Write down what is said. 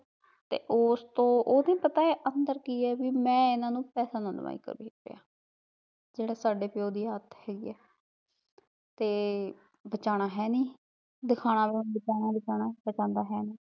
ਤੇ ਓਸਤੋਂ ਉਹ ਵੀ ਪਤਾ ਅੰਦਰ ਕੀ ਐ ਵੀ ਮੈਂ ਏਹਨਾ ਨੂੰ ਪੈਸਾ ਨਾ ਦੇਵਾ ਇੱਕ ਵੀ ਰੁੱਪਈਆ ਜਿਹੜਾ ਸਾਡੇ ਪਿਓ ਦੀ ਆਦਤ ਹੈਗੀ ਐ ਤੇ ਬਚਾਉਣਾ ਹੈਨੀ ਦਿਖਾਉਣਾ ਦਿਖਾਉਣਾ ਬਚਾਉਂਦਾ ਹੈਨੀ